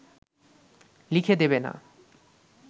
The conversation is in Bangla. লিখে দেবে না